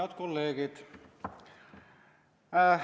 Head kolleegid!